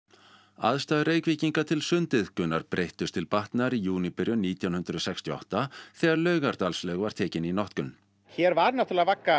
aðstæður Reykvíkinga til sundiðkunar gjörbreyttust til batnaðar í júníbyrjun nítján hundruð sextíu og átta þegar Laugardalslaug var tekin í notkun hér var náttúrulega vagga